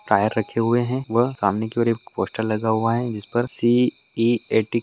tyre रखे हुए हैं व सामने की और एक पोस्टर लगा हुआ है जिसपर सी_ई_ए_टी --